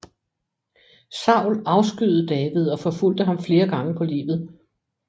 Saul afskyede David og forfulgte ham flere gange på livet